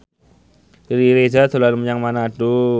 Riri Reza dolan menyang Manado